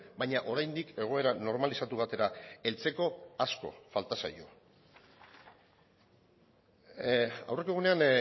baina oraindik egoera normalizatu batera heltzeko asko falta zaio aurreko egunean